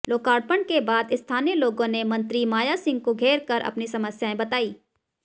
लोकार्पण के बाद स्थानीय लोगों ने मंत्री मायासिंह को घेरकर अपनी समस्याएं बतार्इं